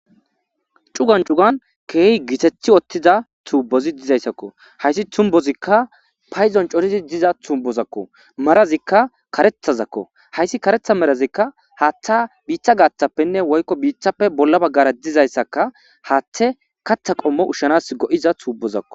Cugan cugan keehi gitethi ottiza tuubozi dizayssakko hayssi tumbozikka payzon corizi diza tumbozakko marazikka karethazakko hayssi karetha merazikka haattha biitha gaaththappenne woykko biithappe bolla baggara dizayssaka haathte katha qommo ushshanas go'iza tubozakko